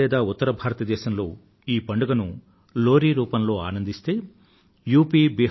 పంజాబ్ లేదా ఉత్తర భారత దేశంలో ఈ పండుగను లోహ్ డీ రూపంలో ఆనందిస్తే యు